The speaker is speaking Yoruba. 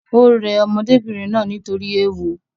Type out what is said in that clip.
Ò rẹ ọmọdébìnrin náà nítorí ééwo